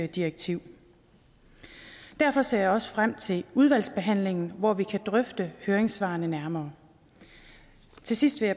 direktiv derfor ser jeg også frem til udvalgsbehandlingen hvor vi kan drøfte høringssvarene nærmere til sidst vil